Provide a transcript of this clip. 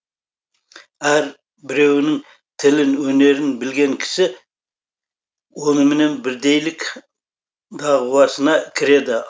әр біреуінің тілін өнерін білген кісі оныменен бірдейлік дағуасына кіреді